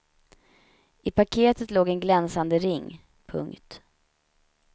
I paketet låg en glänsande ring. punkt